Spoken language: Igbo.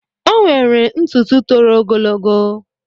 Ọ nwere ntụtụ tòrò ogologo.